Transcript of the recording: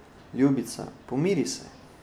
Ljubica, pomiri se!